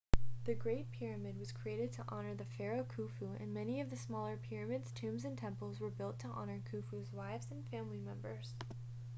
the great pyramid was created to honor the pharaoh khufu and many of the smaller pyramids tombs and temples were built to honor khufu's wives and family members